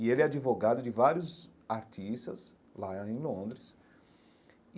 E ele é advogado de vários artistas lá em Londres e.